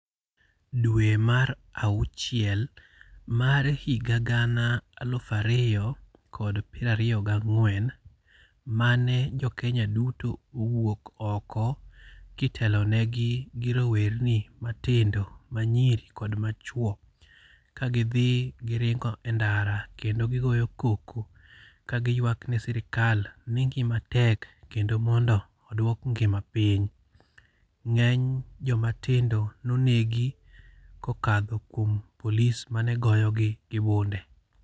Dwe mar auchiel mar higa gana aluf ariyo kod piero ariyo gi ang'wen mane jokenya duto owuok oko, kitelonegi gi rowerni matindo. Manyiri kod machwo. Kagidhi giringo e ndara, kendo gigoyo koko, kagiywak ne sirkal ni ngima tek kendo mondo oduok ngima piny. Ng'eny jomatindo nonegi kokadho kuom polis mane goyogi gi bunde.